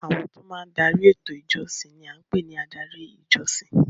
Àwọn tí ó máa ń dari eto ìjọsìn ni à ń pè ní adarí ìjọsìn.